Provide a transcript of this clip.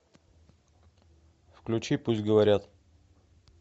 включи пусть говорят